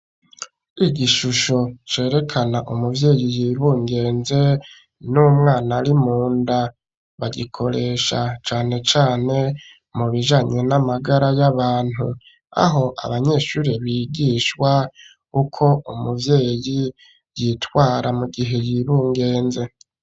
Igishusho cerekana umuvyeyi yibungenze n'umwana rimunda bagikoresha cane cane mu bijanye n'amagara y'abantu aho abanyeshure bigishwa uko umuvyeyi yitwara mu gihe yibungenze.